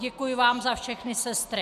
Děkuji vám za všechny sestry.